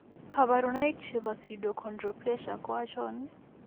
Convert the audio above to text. Kabarunaik chebo pseudoachondroplasia ko achon ?